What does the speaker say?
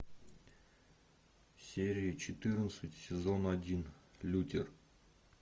серия четырнадцать сезон один лютер